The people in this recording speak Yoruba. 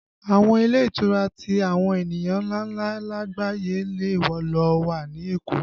Àwọn ilé ìtura tí àwọn ènìyàn ńláńlá lagbaye lè lo wà ní Èkó